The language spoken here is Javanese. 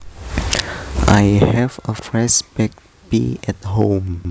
I have a fresh baked pie at home